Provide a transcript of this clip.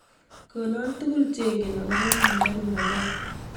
Konon tugul chengen ago po Wangari Maathai